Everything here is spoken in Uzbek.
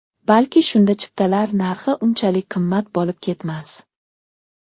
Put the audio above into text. Balki shunda chiptalar narxi unchalik qimmat bo‘lib ketmas.